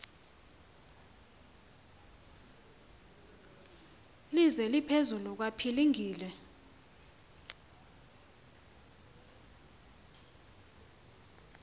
lise liphezulu kwapilingile